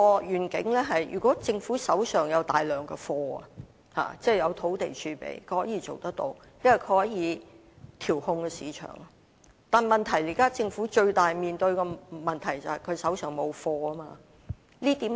如果政府手上有大量"貨源"，即有土地儲備，是可以達致這個願景，因為政府可以調控市場，但現在政府面對最大的問題是手上沒有"貨源"。